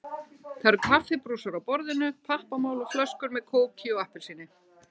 Það eru kaffibrúsar á borðinu, pappamál og flöskur með kóki og appelsíni.